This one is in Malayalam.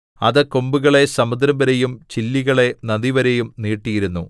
അത് കൊമ്പുകളെ സമുദ്രംവരെയും ചില്ലികളെ നദിവരെയും നീട്ടിയിരുന്നു